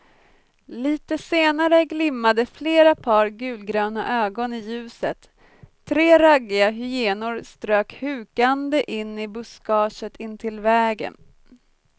Litet senare glimmade flera par gulgröna ögon i ljuset, tre raggiga hyenor strök hukande in i buskaget intill vägen.